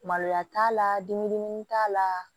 Maloya t'a la den t'a la